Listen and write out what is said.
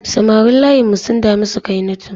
Samarin layinmu sun dami Sukainatu.